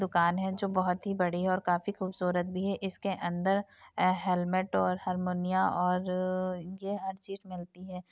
दुकान है जोकि बहुत ही बड़ी और काफी खूबसूरत भी है। इसके अंदर हेलमेट और हारमोनिया और हर चीज मिलती है।